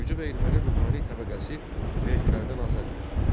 Gürcü və erməni ruhani təbəqəsi vergilərdən azad idi.